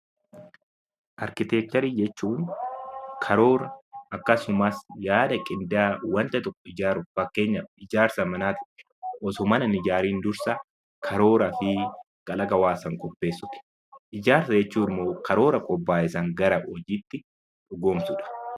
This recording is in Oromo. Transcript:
Arkiteekcharii jechuun karoora akkasumas yaada qindaa'aa wanta tokko ijaaruuf fakkeenyaaf ijaarsa manaa fi osoo mana hin ijaariin dursa karooraa fi kalaqa hawaasaan qopheessuudha. Ijaarsa jechuun immoo karoora qophaayee fi karaa hojiitiin dhugoomsuudha.